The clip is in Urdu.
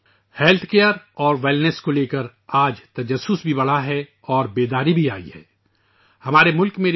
آج حفظان صحت اور تندرستی کے بارے میں تجسس اور آگاہی میں بھی اضافہ ہوا ہے